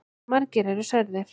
Margir eru særðir.